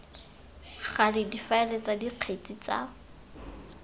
gale difaele tsa dikgetse tsa